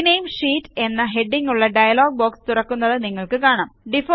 rename sheet എന്ന ഹെഡിംഗ്ങ്ങുള്ള dialog box തുറക്കുന്നത് നിങ്ങൾക്ക് കാണാം